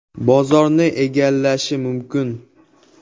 “Bozorni egallashi mumkin”.